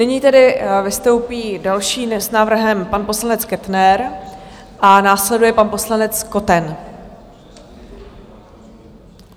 Nyní tedy vystoupí další s návrhem, pan poslanec Kettner, a následuje pan poslanec Koten.